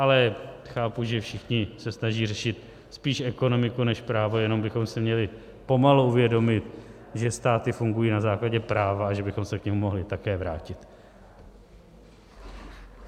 Ale chápu, že všichni se snaží řešit spíše ekonomiku než právo, jenom bychom si měli pomalu uvědomit, že státy fungují na základě práva a že bychom se k němu mohli také vrátit.